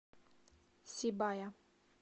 сибая